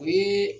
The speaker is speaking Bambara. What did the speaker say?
O ye